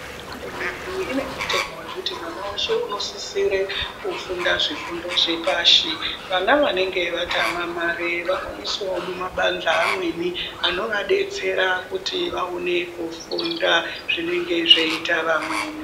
Hurumende yedu ine mutemo vekuti mwana veshe unosisire kufunda zvifundo zvepashi. Vana vanenge vatama mare vanoiswavo mumabanjwa amweni anovabetsera kuti vaone kufunda zvinenge zveiita vamweni.